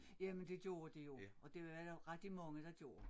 Jamen det gjorde de jo og det var der rigtig mange der gjorde